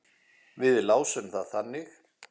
Við lásum það þannig.